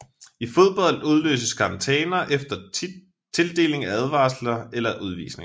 I fodbold udløses karantæner efter tildeling af advarsler eller udvisninger